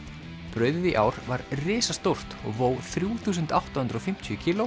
brauðið í ár var risastórt og vó þrjú þúsund átta hundruð og fimmtíu kíló